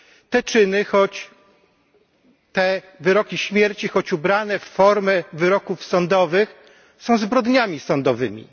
Te czyny, choć te wyroki śmierci, choć ubrane w formę wyroków sądowych, są zbrodniami sądowymi.